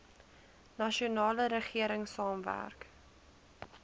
nasionale regering saamwerk